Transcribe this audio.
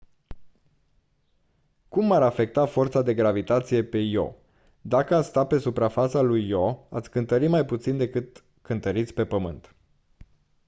cum m-ar afecta forța de gravitație pe io dacă ați sta pe suprafața lui io ați cântări mai puțin decât cântăriți pe pământ